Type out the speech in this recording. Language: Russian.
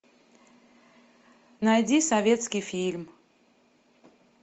найди советский фильм